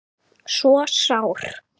svo sár